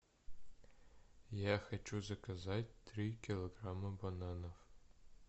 я хочу заказать три килограмма бананов